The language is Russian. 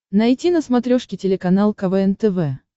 найти на смотрешке телеканал квн тв